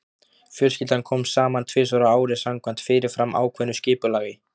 Fjölskyldan kom saman tvisvar á ári samkvæmt fyrirfram ákveðnu skipulagi.